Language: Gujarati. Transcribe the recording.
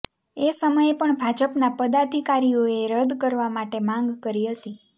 એ સમયે પણ ભાજપના પદાધિકારીઓએ રદ કરવા માટે માંગ કરી હતી